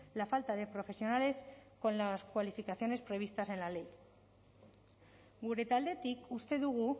la falta de profesionales con las cualificaciones previstas en la ley gure taldetik uste dugu